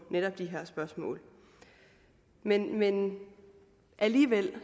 netop de her spørgsmål men men alligevel